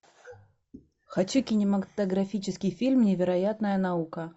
хочу кинематографический фильм невероятная наука